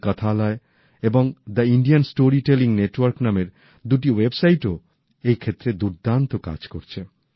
তেমনি কথালয় এবং the Indian story telling network নামের দুটি ওয়েবসাইটও এই ক্ষেত্রে দুর্দান্ত কাজ করছে